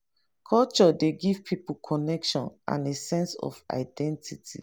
culture dey give pipo connection and a sense of identity